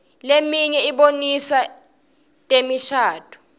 leminye ibonisa temishadvo